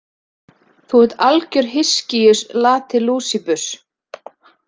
Þú ert algjör hyskíus latilúsíbus.